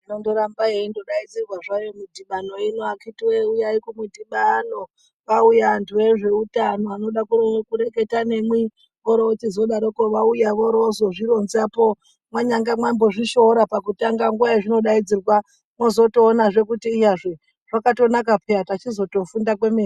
Inondoramba yeindodaidzirwa zvayo midhibano ino akhiti voye uyai kumudhibano vauya vantu vezveutano vanoda kureketa nemwi, oro vochizodaroko vauya oro vozozvironzapo mwanyangamambozvishoora pakutanga nguva yazvinodaidzirwa vozotoonazve. Kuti iyazve zvakatonaka peya pachizotofunda kwemene.